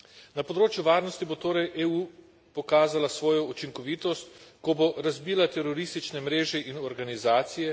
Na področju varnosti bo torej EU pokazala svojo učinkovitost, ko bo razbila teroristične mreže in organizacije,